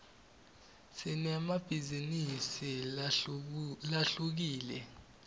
sinemabhizinisi lahlukile